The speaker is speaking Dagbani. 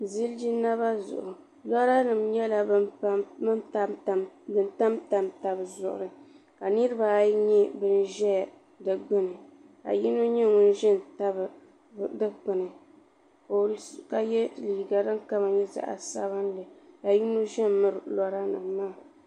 Ziliji naba zuɣu lɔranima nyɛla ban tamtam taba zuɣuri ka niriba ayi nyɛ ban ʒɛya di ɡbuni ka yino nyɛ ŋun ʒi n-tabi dikpuni ka ye liiɡa din kama nyɛ zaɣ' sabinli ka yino ʒe m-miri lɔranima maa